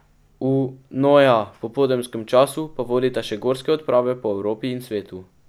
V, no ja, popoldanskem času pa vodita še gorske odprave po Evropi in svetu.